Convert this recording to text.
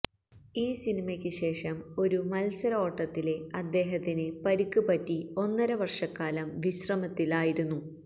ഈ സിനിമക്ക് ശേഷം ഒരു മത്സരഓട്ടത്തില് അദ്ദേഹത്തിന് പരിക്ക് പറ്റി ഒന്നര വര്ഷക്കാലം വിശ്രമത്തില് ആയിരുന്നു